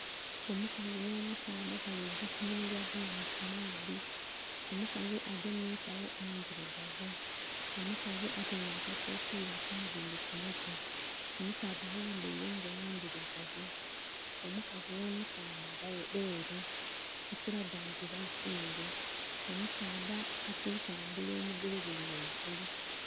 Omukazi nh'omusaadha balikugya kunhumirwa bulamu kumaadhi , omukazi agemye ensagho endhirugavu, omukazi ataire akakofiira kunviiri kumutwe, omusaadha ayambere engoye endhirugavu, omukazi nh'omusaadha beru ekiraga nti bazungu, omusaadha alitambula omugulu guli ghangulu.